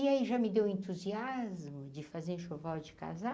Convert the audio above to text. E aí já me deu entusiasmo de fazer enxoval de casar.